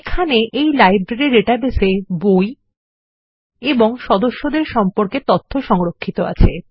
এখানে এই লাইব্রেরী ডাটাবেসে বই এবং সদস্যদের সম্পর্কে তথ্য সংরক্ষিত আছে